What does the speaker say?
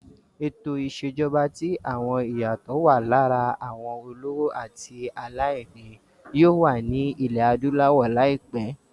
Ètò ìṣèjọba tí àwọn iyato wà lára àwọn olówó àti àwọn aláìní yóò wà ní ilẹ̀ adúláwọ̀ láìpẹ́.